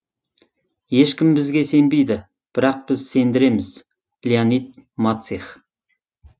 ешкім бізге сенбейді бірақ біз сендіреміз леонид мацих